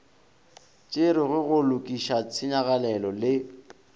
tšerwego go lokiša tshenyagalelo le